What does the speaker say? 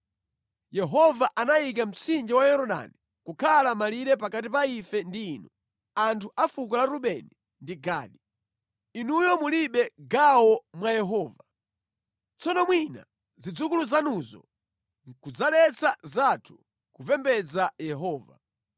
Yehova anayika mtsinje wa Yorodani kukhala malire pakati pa ife ndi inu, anthu a fuko la Rubeni ndi Gadi. Inuyo mulibe gawo mwa Yehova.’ Tsono mwina zidzukulu zanuzo nʼkudzaletsa zathu kupembedza Yehova.